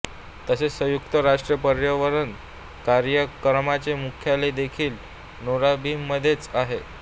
तसेच संयुक्त राष्ट्रे पर्यावरण कार्यक्रमाचे मुख्यालय देखील नैरोबीमध्येच आहे